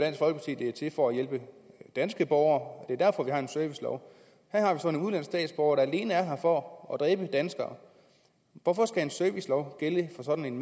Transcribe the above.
i den er til for at hjælpe danske borgere altså det er derfor vi har en servicelov her har vi så en udenlandsk statsborger der alene er her for at dræbe danskere hvorfor skal en servicelov gælde for sådan en